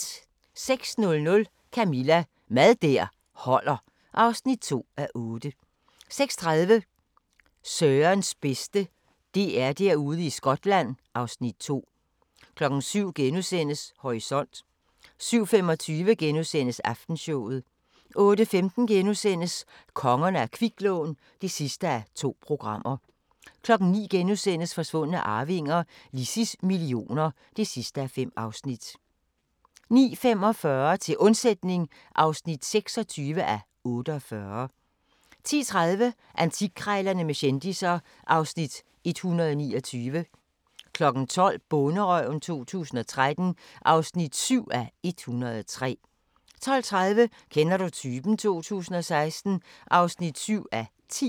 06:00: Camilla – Mad der holder (2:8) 06:30: Sørens bedste: DR-Derude i Skotland (Afs. 2) 07:00: Horisont * 07:25: Aftenshowet * 08:15: Kongerne af kviklån (2:2)* 09:00: Forsvundne arvinger: Lissies millioner (5:5)* 09:45: Til undsætning (26:48) 10:30: Antikkrejlerne med kendisser (Afs. 129) 12:00: Bonderøven 2013 (7:103) 12:30: Kender du typen? 2016 (7:10)